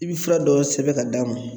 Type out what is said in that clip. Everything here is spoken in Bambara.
I bi fura dɔ sɛbɛn k'a d'a ma